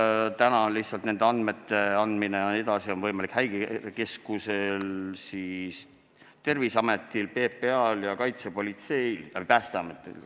Ma tean, et praegu on nende andmete edasiandmine võimalik Häirekeskusel, Terviseametil, PPA-l ja kaitsepolitseil, Päästeametil ka.